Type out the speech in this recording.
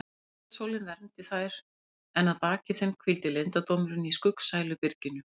Kvöldsólin vermdi þær en að baki þeim hvíldi leyndardómurinn í skuggsælu byrginu.